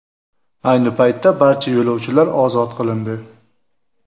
Ayni paytda barcha yo‘lovchilar ozod qilindi .